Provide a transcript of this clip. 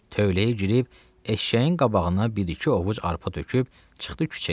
Tövləyə girib eşşəyin qabağına bir-iki ovuc arpa töküb çıxdı küçəyə.